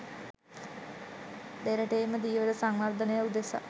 දෙරටේම ධීවර සංවර්ධනය උදෙසා